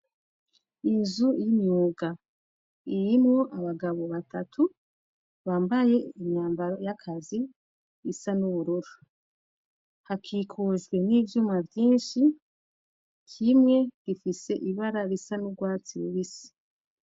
Inzu y'imyuga. Irimwo abagabo batatu, bambaye imyambaro y'akazi, isa n'ubururu. Hakikujwe n'ivyuma vyinshi, kimwe gifise ibara risa n'urwatsi rubisi.